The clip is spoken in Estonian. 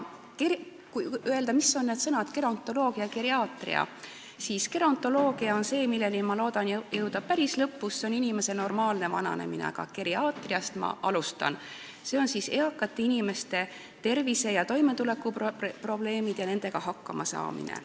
Kui rääkida sellest, mida tähendavad need sõnad "gerontoloogia" ja "geriaatria", siis gerontoloogiani, mis tegeleb inimese normaalse vananemisega, ma loodan jõuda päris ettekande lõpus, aga ma alustan geriaatriast, mis tegeleb eakate inimeste tervise- ja toimetulekuprobleemidega ning sellega, kuidas nendega hakkama saada.